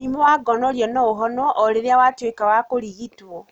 Mũrimũ wa gonorrhea no ũhonwo o rĩrĩa watwĩka wa kũrigitwo